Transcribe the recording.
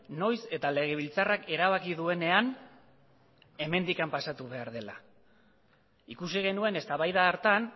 noiz eta legebiltzarrak erabaki duenean hemendik pasatu behar dela ikusi genuen eztabaida hartan